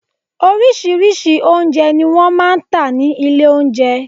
Orírìsíírìí oúnjẹ ni wọ́n máa ń tà ní ilé oúnjẹ.